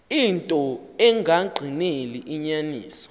into engagqineli inyaniso